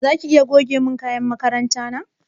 Zaka iya goge mun kayan makaranta na?